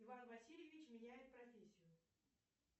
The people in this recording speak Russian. иван васильевич меняет профессию